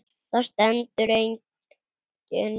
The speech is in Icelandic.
Þar stendur einnig